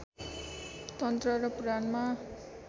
तन्त्र र पुराणमा